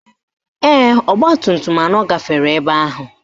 Ee, ọgbatumtum anọ gafere ebe ahụ